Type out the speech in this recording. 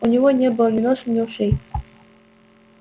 у него не было ни носа ни ушей